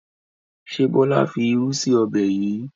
Ṣé Bọlá fi irú sì ọbẹ̀ yìí?